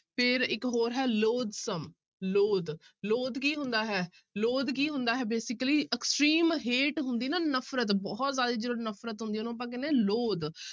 ਫਿਰ ਇੱਕ ਹੋਰ ਹੈ loathsome, loath ਕੀ ਹੁੰਦਾ ਹੈ loath ਕੀ ਹੁੰਦਾ ਹੈ basically extreme hate ਹੁੰਦੀ ਨਾ ਨਫ਼ਰਤ ਬਹੁਤ ਜ਼ਿਆਦਾ ਜਦੋਂ ਨਫ਼ਰਤ ਹੁੰਦੀ ਉਹਨੂੰ ਆਪਾਂ ਕਹਿੰਦੇ ਹਾਂ loath